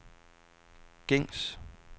gængs